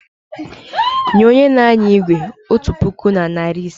Nye onye n'anya igwe otu puku na narị ise!